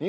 Moskvaga.